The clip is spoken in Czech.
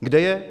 Kde je?